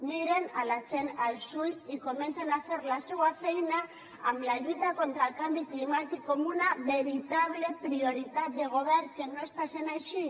mirin la gent als ulls i comencin a fer la seua feina amb la lluita contra el canvi climàtic com una veritable prioritat de govern que no està sent així